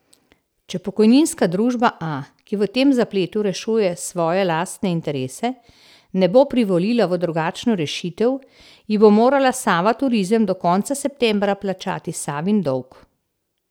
Če Pokojninska družba A, ki v tem zapletu rešuje svoje lastne interese, ne bo privolila v drugačno rešitev, ji bo morala Sava Turizem do konca septembra plačati Savin dolg.